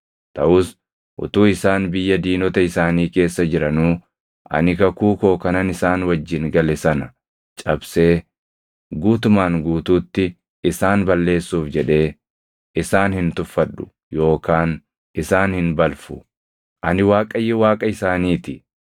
Taʼus utuu isaan biyya diinota isaanii keessa jiranuu ani kakuu koo kanan isaan wajjin gale sana cabsee guutumaan guutuutti isaan balleessuuf jedhee isaan hin tuffadhu yookaan isaan hin balfu. Ani Waaqayyo Waaqa isaanii ti.